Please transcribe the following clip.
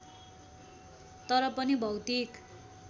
तर पनि भौतिक